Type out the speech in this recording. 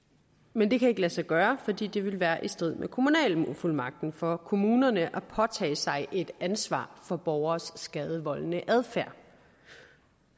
men det kan ikke lade sig gøre fordi det vil være i strid med kommunalfuldmagten for kommunerne at påtage sig et ansvar for borgeres skadevoldende adfærd